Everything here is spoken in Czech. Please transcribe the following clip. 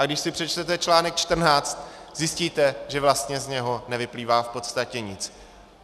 A když si přečtete článek 14, zjistíte, že vlastně z něho nevyplývá v podstatě nic.